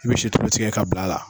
I bi si tulu tigɛ ka bila a la.